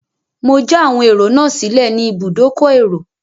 Mo já àwọn ẹrò sílẹ̀ ní ibùdókọ̀ èrò.